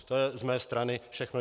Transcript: To je z mé strany všechno.